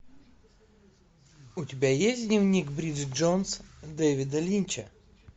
у тебя есть дневник бриджит джонс дэвида линча